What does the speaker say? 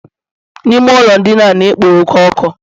Ime ụlọ ndina a na-ekpo oke ọkụ